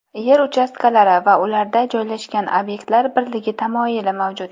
Yer uchastkalari va ularda joylashgan obyektlar birligi tamoyili mavjud.